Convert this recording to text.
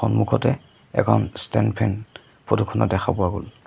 সন্মুখতে এখন ষ্টেন ফেন ফটো খনত দেখা পোৱা গ'ল।